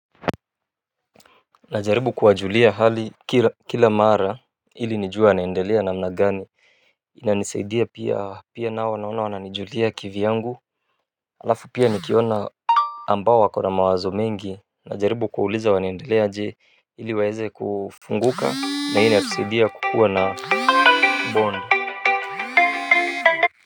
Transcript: Najaribu kuwajulia hali kila mara ili nijue wanaendelea namna gani inanisaidia pia pia nao naona wananijulia kivyangu alafu pia nikiona ambao wakona mawazo mengi. Najaribu kuwauliza wanaendelea je ili waeze kufunguka na hii inanisaidia kukuwa na bond.